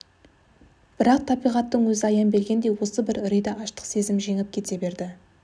бірақ табиғаттың өзі аян бергендей осы бір үрейді аштық сезім жеңіп кете берді